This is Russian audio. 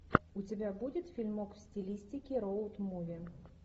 у тебя будет фильмок в стилистике роуд муви